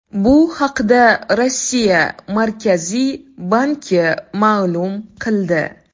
Bu haqda Rossiya Markaziy banki ma’lum qildi .